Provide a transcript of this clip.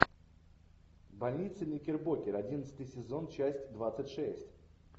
больница никербокер одиннадцатый сезон часть двадцать шесть